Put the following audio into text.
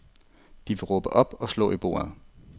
De ville råbe op og slå i bordet.